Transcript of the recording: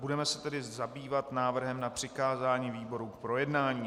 Budeme se tedy zabývat návrhem na přikázání výborům k projednání.